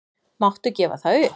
Máttu gefa það upp?